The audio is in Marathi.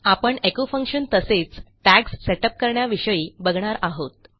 आपण एचो फंक्शन तसेच टॅग्स सेट अप करण्याविषयी बघणार आहोत